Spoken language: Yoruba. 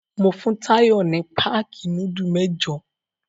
Mo tun Táyọ̀ ní páákì núdúlù mẹ́jọ.